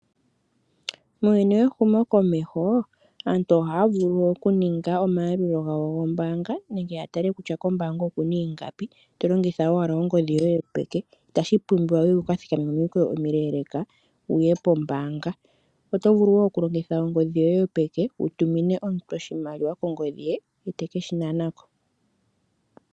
Muuyuni wehumo komeho, aantu ohaya vulu oku ninga omayalulo gawo gombanga nenge ya tale kutya kombanga okuna iingapi to longitha wala ongodhi yoye yo peke , itashi pumbiwa wuka thikame momikweyo omileleka wuye pombanga. Oto vulu wo oku longith ongodhi yoye yopeke wu tumine omuntu oshimaliwa kongodhi ye ,ete keshi nanako